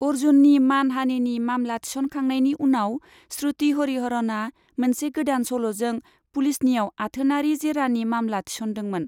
अर्जुननि मान हानिनि मामला थिसनखांनायनि उनाव, श्रुति हरिहरनआ मोनसे गोदान सल'जों पुलिसनियाव आथोनारि जेरानि मामला थिसनदोंमोन।